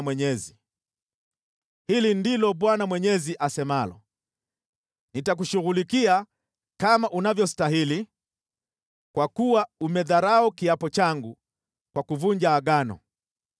“ ‘Hili ndilo Bwana Mwenyezi asemalo: Nitakushughulikia kama unavyostahili, kwa kuwa umedharau kiapo changu kwa kuvunja Agano.